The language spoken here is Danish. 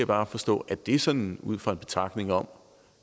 bare forstå er det sådan ud fra en betragtning om